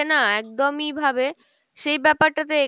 না একদম ই ভাবে, সেই ব্যপার টা তো এখানে